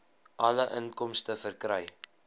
alle inkomste verkry